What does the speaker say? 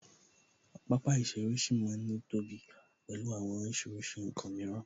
Pápá ìṣeré ṣì ma ń ní tóbi pẹ̀lú àwọn oríṣiríṣi ǹkan mìíràn